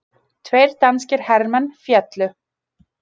Tveir danskir hermenn féllu